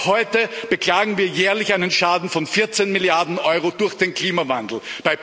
Bereits heute beklagen wir jährlich einen Schaden von 14 Milliarden Euro durch den Klimawandel.